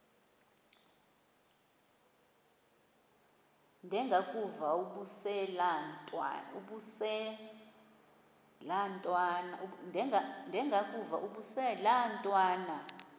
ndengakuvaubuse laa ntwana